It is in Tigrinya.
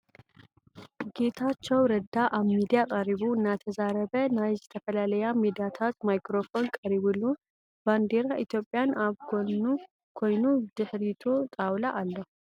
ጌታችዉ ረዳ ኣብ ሚድያ ቅሪቡ እናተዛርበ ናይ ዝትፍላልያ ሚድያታት ማይክሮፎን ቀሪቡሉ ባንዴር ኢትዮጵያን ኣብ ጎኑ ኮይና ብድሕሪቱ ጣዉላ ኣሎ ።